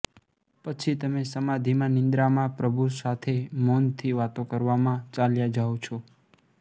પછી તમે સમાધિમાં નિંદ્રામાં પ્રભુ સાથે મૌનથી વાતો કરવામાં ચાલ્યા જાઓ છો